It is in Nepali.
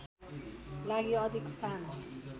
लागि अधिक स्थान